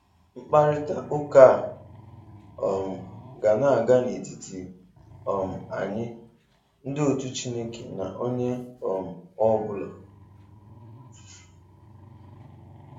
Mkparita ụka a um ga na-aga n'etiti um anyị, ndị otú Chineke na onye um ọ bụla.